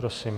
Prosím.